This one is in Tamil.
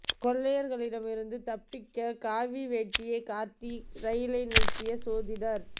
கொள்ளையர்களிடம் இருந்து தப்பிக்க காவி வேட்டியைக் காட்டி ரயிலை நிறுத்திய சோதிடர்